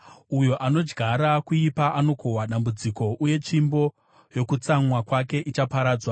Uyo anodyara kuipa anokohwa dambudziko, uye tsvimbo yokutsamwa kwake ichaparadzwa.